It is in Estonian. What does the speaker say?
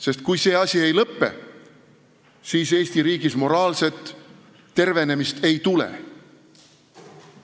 Sest kui see asi ei lõpe, siis Eesti riigis moraalset tervenemist ei tule.